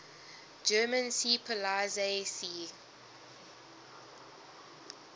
german seepolizei sea